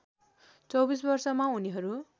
२४ वर्षमा उनीहरू